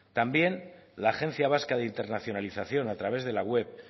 también la agencia vasca de internacionalización a través de la web